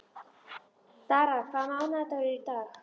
Dara, hvaða mánaðardagur er í dag?